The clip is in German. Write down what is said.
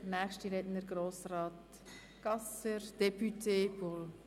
Der nächste Redner ist Grossrat Gasser, député du PSA.